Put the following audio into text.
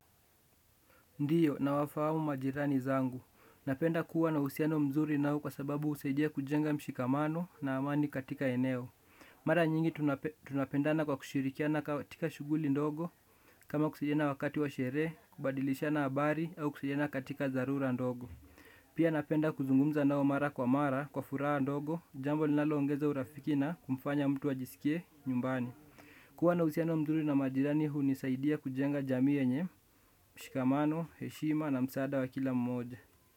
Ndiyo na wafahamu majirani zangu. Napenda kuwa na uhusiano mzuri nao kwa sababu husaidia kujenga mshikamano na amani katika eneo. Mara nyingi tunapendana kwa kushirikiana katika shughuli ndogo kama kusaidiana wakati wa sherehe, kubadilishana habari au kusaidiana katika dharura ndogo. Pia napenda kuzungumza nao mara kwa mara kwa furaha ndogo jambo linaloongeza urafiki na kumfanya mutu ajisikie nyumbani. Kuwa na uhusiano mzuri na majirani huu nisaidia kujenga jamii yenye, mshikamano, heshima na msaada wa kila mmoja.